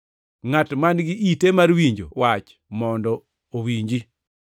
Ngʼat man-gi ite mar winjo wach mondo owinji.”